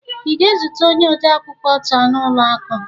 ị ga-ezute onye odeakwụkwọ taa n'ụlọ akụ?